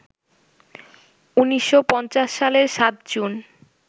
১৯৫০ সালের ৭ জুন